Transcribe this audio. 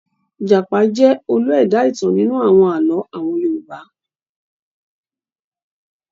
Ìjàpá jẹ́ olú ẹ̀dá-ìtàn nínú àwọn àlọ́ àwọn Yorùbá.